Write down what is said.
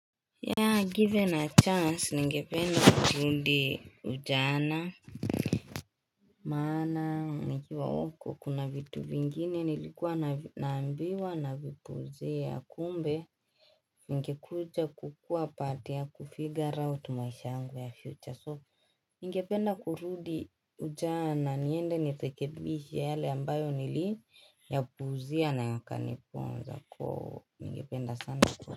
Ya given a chance ningependa kurudi ujana Maana nikiwa huku kuna vitu vingine nilikuwa naambiwa na vipuuzia kumbe ngekuja kukua part ya kufigure out tu maisha yangu ya future so ningependa kurudi ujana niende nirekebishi yale ambayo niliyapuuzia na yakaniponza koo ningependa sana kwa.